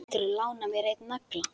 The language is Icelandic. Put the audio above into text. Geturðu lánað mér einn nagla.